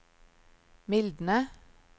mildne